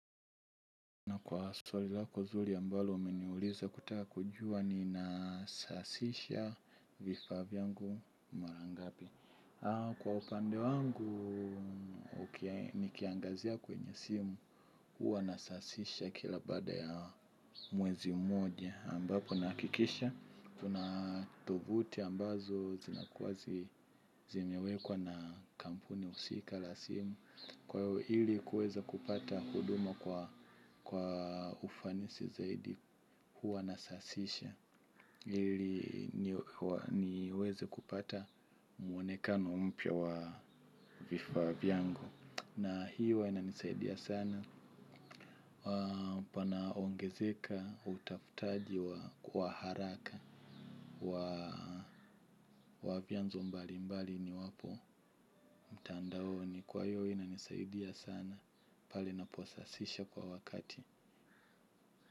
Na kwa swali lako nzuri ambalo umeniuliza kutaka kujua ninasasisha vifaa vyangu mara ngapi. Kwa upande wangu, nikiangazia kwenye simu huwa nasasisha kila baada ya mwezi mmoja. Ambapo nahakikisha, tuna thubuti ambazo zinakuwa zimewekwa na kampuni husika la simu. Kwa hivyo ili kuweza kupata huduma kwa ufanisi zaidi huwa nasasisha ili niweze kupata mwonekano mpya wa vifaa vyangu. Na hii huwa inanisaidia sana, panaongezeka utafutaji wa kwa haraka wa vyanzo mbali mbali niwapo mtandaoni. Kwa hivyo inanisaidia sana pale naposasisha kwa wakati.